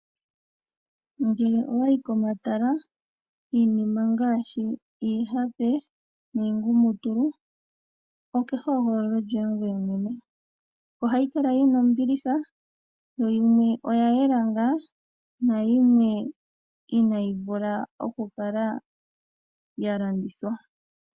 Ngele owa yi komatala, iinima ngaashi iihape niingumutulu, oke hogololo lyoye ngoye mwene. Ohayi kala yi na ombiliha, yo yimwe oya yela ngaa, nayimwe inaayi vula okukala ya landithwa.